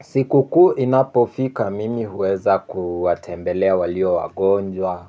Siku kuu inapofika mimi huweza kuwatembelea walio wagonjwa